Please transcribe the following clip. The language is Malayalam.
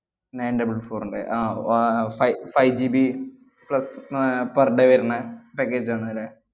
nine double four ന്‍റെ അഹ് വ~ uh fi~ fiveGBplus uh per day വരണ package ആണല്ലേ?